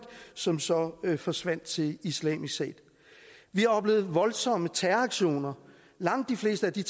som så forsvandt til islamisk stat vi har oplevet voldsomme terroraktioner langt de fleste og de